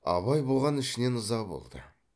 абай бұған ішінен ыза болды